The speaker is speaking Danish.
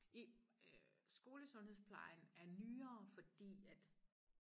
i skolesundhedsplejen er nyere fordi at